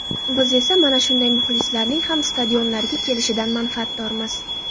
Biz esa mana shunday muxlislarning ham stadionlarga kelishidan manfaatdormiz.